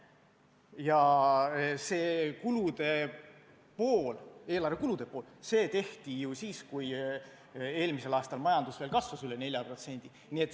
Ja see kulude pool, eelarve kulude pool tehti ju siis, kui eelmisel aastal majandus veel kasvas üle 4%.